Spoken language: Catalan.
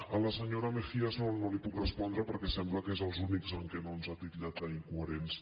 a la senyora mejías no li puc respondre perquè sembla que som els únics que no ens ha titllat d’incoherents